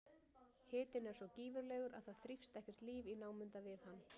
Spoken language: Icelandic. Hitinn er svo gífurlegur að það þrífst ekkert líf í námunda við hann.